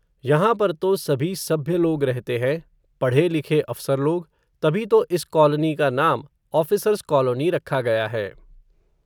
यहां पर तो, सभी सभ्य लोग रहते हैं, पढ़े लिखे अफ़सर लोग, तभी तो इस कॉलनी का नाम, ऑफ़िसर्स कॉलोनी रखा गया है